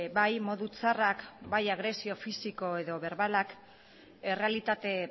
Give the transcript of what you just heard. bai modu txarrak bai agresio fisiko edo berbalak errealitate